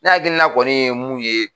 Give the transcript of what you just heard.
Ne hakilina kɔni ye mun ye.